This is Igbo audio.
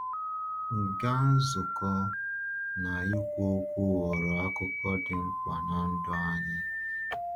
Ịga nzukọ na ikwu okwu ghọrọ akụkụ dị mkpa n’ndụ anyị.